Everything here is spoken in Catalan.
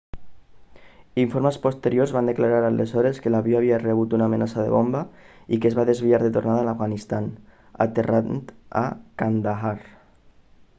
informes posteriors van declarar aleshores que l'avió havia rebut una amenaça de bomba i que es va desviar de tornada a l'afganistan aterrant a kandahar